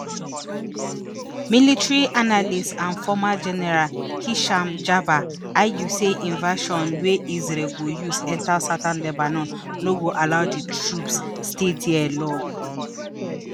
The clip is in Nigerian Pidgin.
military analyst and former general hisham jaber argue say invasion wey israel go use enta southern lebanon no go allow di troops stay dia log